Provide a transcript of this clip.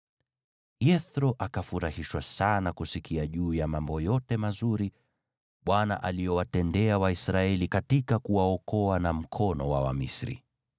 Yethro akafurahishwa sana kusikia juu ya mambo yote mazuri Bwana aliyowatendea Waisraeli kuwaokoa kutoka mkono wa Wamisri.